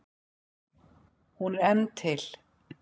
Hún er enn til.